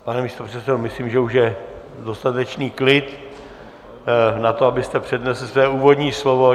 Pane místopředsedo, myslím, že už je dostatečný klid na to, abyste přednesl své úvodní slovo.